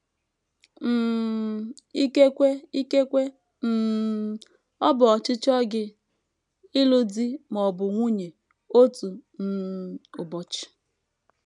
um Ikekwe Ikekwe um ọ bụ ọchịchọ gị ịlụ di ma ọ bụ nwunye otu um ụbọchị.